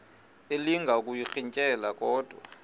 elinga ukuyirintyela kodwa